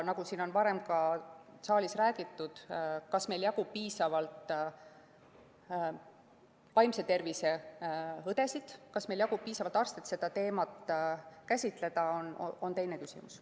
Nagu siin saalis on varem räägitud, see, kas meil jagub piisavalt vaimse tervise õdesid, kas meil jagub piisavalt arste, et seda teemat käsitleda, on teine küsimus.